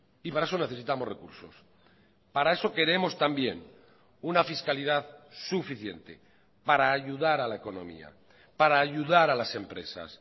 y para eso necesitamos recursos para eso queremos también una fiscalidad suficiente para ayudar a la economía para ayudar a las empresas